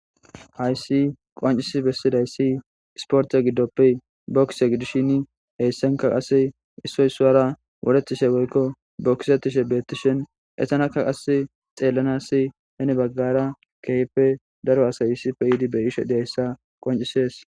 Hayssan qonccisi besizayssi ispotte giddoppe bokise gidishin issoy issuwara waretishe dossona .It's xelanaw hena baggara daro asay xelishshe Desi.